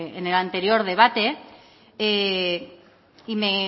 en el anterior debate y